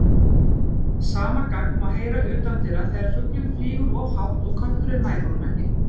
Sama gagg má heyra utandyra þegar fuglinn flýgur of hátt og kötturinn nær honum ekki.